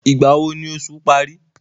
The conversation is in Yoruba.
Ìgbà wo ni oṣù parí?